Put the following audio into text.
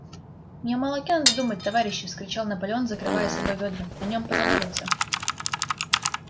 не о молоке надо думать товарищи вскричал наполеон закрывая собой вёдра о нём позаботятся